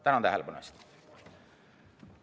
Tänan tähelepanu eest!